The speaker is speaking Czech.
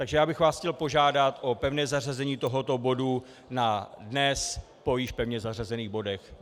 Takže já bych vás chtěl požádat o pevné zařazení tohoto bodu na dnes po již pevně zařazených bodech.